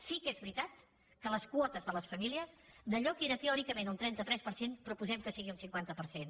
sí que és veritat que les quotes de les famílies d’allò que era teòricament un trenta tres per cent proposem que sigui un cinquanta per cent